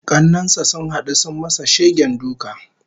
Kannen sa sun hadu sun masa shegen duka